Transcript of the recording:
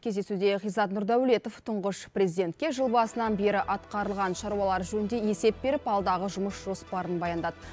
кездесуде ғизат нұрдәулетов тұңғыш президентке жыл басынан бері атқарылған шаруалар жөнінде есеп беріп алдағы жұмыс жоспарын баяндады